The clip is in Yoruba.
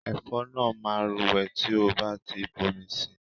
Ẹ̀fọ́ náà máa rúwé tí o bá ti ń bomi sí i.